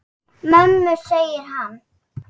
Mömmu, segir hann.